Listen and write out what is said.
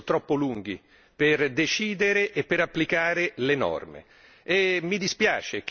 Ma i tempi sono spesso troppo lunghi per decidere e per applicare le norme.